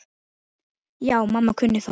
Já, mamma kunni það.